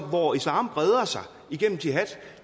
hvor islam breder sig igennem jihad